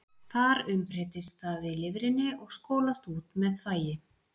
Þar umbreytist það í lifrinni og skolast út með þvagi.